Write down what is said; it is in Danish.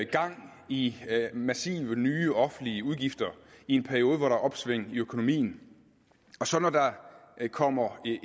gang i massive nye offentlige udgifter i en periode hvor der er opsving i økonomien og så når der kommer